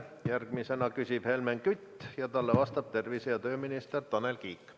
Järgmisena küsib Helmen Kütt ja talle vastab tervise- ja tööminister Tanel Kiik.